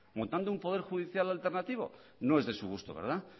montando un poder judicial alternativo no es de su gusto verdad